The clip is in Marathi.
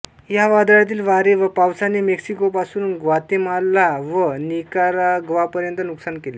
या वादळातील वारे व पावसाने मेक्सिकोपासून ग्वातेमाला व निकाराग्वापर्यंत नुकसान केले